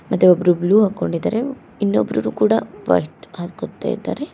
ಅದೇ ಒಬ್ರು ಬ್ಲೂ ಹಾಕೊಂಡಿದ್ದಾರೆ ಇನ್ನೊಬ್ರು ಕೂಡ ಬಟ್ ಹಾಕೋತ್ತಾ ಇದ್ದಾರೆ.